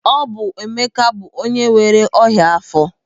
Ọ bụ Emeka bụ onye nwere ọnyá afọ.